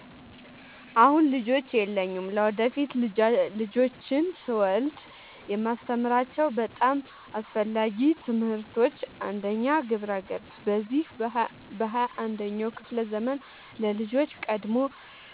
አሁን ልጆች የሉኝም። ለወደፊት ልጆችን ስወልድ የማስተምራቸው በጣም አስፈላጊ ትምህርቶች፦ 1. ግብረ-ገብ፦ በዚህ በ 21ኛው ክፍለ ዘመን ለልጆች ቀድሞ